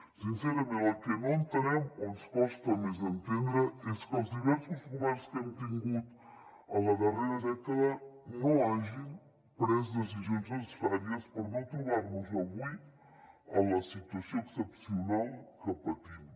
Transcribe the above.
sincerament el que no entenem o ens costa més d’entendre és que els diversos governs que hem tingut en la darrera dècada no hagin pres decisions necessàries per no trobar nos avui en la situació excepcional que patim